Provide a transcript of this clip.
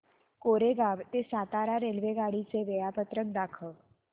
कोरेगाव ते सातारा रेल्वेगाडी चे वेळापत्रक दाखव